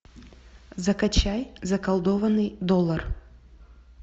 закачай заколдованный доллар